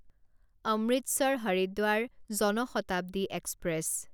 Amritsar Haridwar Jan Shatabdi express